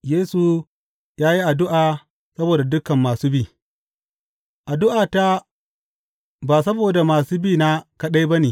Yesu ya yi addu’a saboda dukan masu bi Addu’ata ba saboda masu bina kaɗai ba ne.